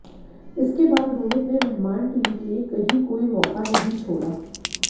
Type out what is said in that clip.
इसके बाद रोहित ने मेहमान टीम के लिए कहीं कोई मौका नहीं छोड़ा